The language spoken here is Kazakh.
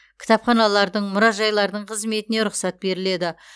кітапханалардың мұражайлардың қызметіне рұқсат беріледі